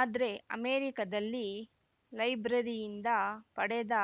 ಆದ್ರೆ ಅಮೆರಿಕದಲ್ಲಿ ಲೈಬ್ರರಿಯಿಂದ ಪಡೆದ